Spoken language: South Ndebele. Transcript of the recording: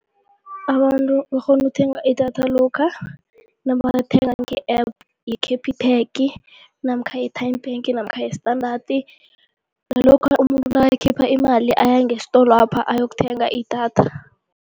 Abantu bakghona ukuthenga idatha lokha nabalithenga nge-App ye-Capitec namkha i-Tyme Bank namkha ye-Standard, nalokha umuntu nakakhipha imali aya ngesitolwapha ayokuthenga idatha.